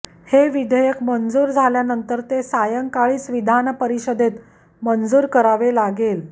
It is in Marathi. हे विधेयक मंजूर झाल्यानंतर ते सायंकाळीच विधानपरिषदेत मंजूर करावे लागेल